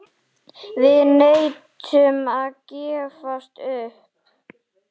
Við neitum að gefast upp.